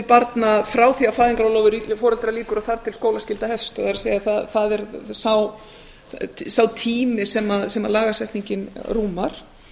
barna frá því að fæðingarorlofi foreldra lýkur og þar til að skólaskylda hefst það er það er sá tími sem lagasetningin rúmar